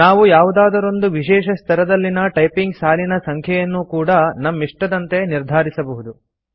ನಾವು ಯಾವುದಾದರೊಂದು ವಿಶೇಷ ಸ್ತರದಲ್ಲಿನ ಟೈಪಿಂಗ್ ಸಾಲಿನ ಸಂಖ್ಯೆಯನ್ನೂ ಕೂಡಾ ನಮ್ಮಿಷ್ಟದಂತೆ ನಿರ್ಧಾರಿಸಬಹುದು